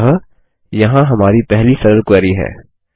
अतः यहाँ हमारी पहली सरल क्वेरी है